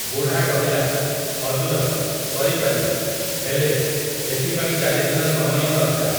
ବୁଢ଼ା କହିଲା, ହଜୁର, କରି ପାରିବି, ହେଲେ, ଏଥିପାଇଁ ଚାରିଦିନ ସମୟଁ ଦରକାର ।